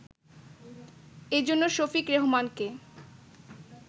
এ জন্য শফিক রেহমানকে